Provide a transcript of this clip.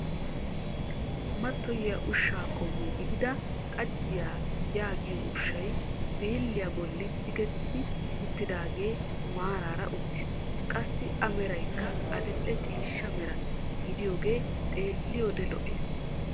Mattoyiyaa ushshaa qommo gidida xajjiyaa yaagiyoo ushshay birilliyaa bolli tigetti uttaagee maaraara uttiis. Qassi a meraykka adil"e ciishsha mera gidaagee xeelliyode lo"ees.